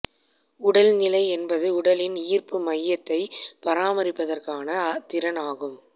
உடல்நிலை என்பது உடலின் ஈர்ப்பு மையத்தை பராமரிப்பதற்கான திறன் ஆகும்